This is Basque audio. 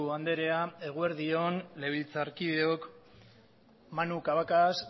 andrea eguerdi on legebiltzarkideok manu cabacas